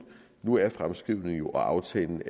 nu er fremskrivningen og aftalen